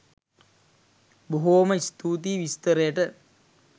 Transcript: බොහෝම ස්තුතියි විස්තරයට